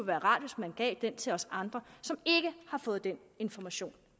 være rart hvis man gav den til os andre som ikke har fået den information